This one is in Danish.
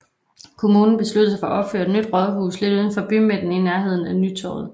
Kommunen besluttede sig for at opføre et nyt rådhus lidt uden for bymidten i nærhden af Nytorvet